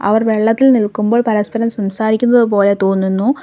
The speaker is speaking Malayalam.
അവർ വെള്ളത്തിൽ നിൽക്കുമ്പോൾ പരസ്പരം സംസാരിക്കുന്നതു പോലെ തോന്നുന്നു.